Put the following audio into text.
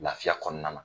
Lafiya kɔnɔna na